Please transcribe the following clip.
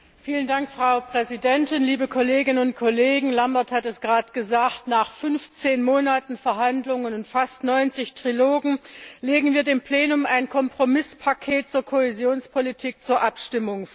Frau Präsidentin, liebe Kolleginnen und Kollegen! Mein Kollege Lambert von Nistelrooij hat es gerade gesagt, nach 15 Monaten Verhandlungen und fast 90 Trilogen legen wir dem Plenum ein Kompromisspaket zur Kohäsionspolitik zur Abstimmung vor.